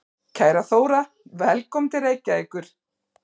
Kæra Þóra. Velkomin til Reykjavíkur.